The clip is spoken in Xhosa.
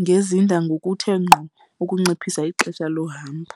ngezinda ngokuthe ngqo ukunciphisa ixesha lohambo.